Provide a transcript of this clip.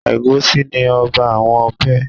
Ẹ̀gúsí ni ọba àwọn ọbẹ̀.